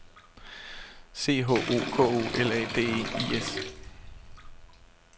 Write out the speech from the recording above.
C H O K O L A D E I S